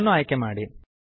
ಅದನ್ನು ಆಯ್ಕೆ ಮಾಡಿ